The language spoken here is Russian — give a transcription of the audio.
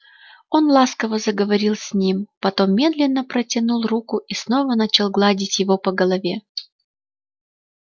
он ласково заговорил с ним потом медленно протянул руку и снова начал гладить его по голове